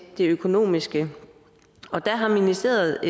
det økonomiske og der har ministeriet